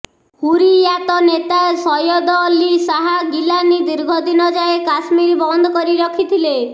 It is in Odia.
ହୁରିୟାତ ନେତା ସୟଦ ଅଲ୍ଲୀ ଶାହା ଗିଲାନୀ ଦୀର୍ଘ ଦିନ ଯାଏଁ କାଶ୍ମୀର ବନ୍ଦ କରି ରଖିଥିଲେ